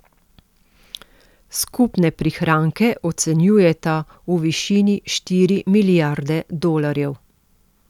Skupne prihranke ocenjujeta v višini štiri milijarde dolarjev.